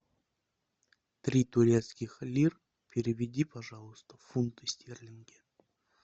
три турецких лир переведи пожалуйста в фунты стерлинги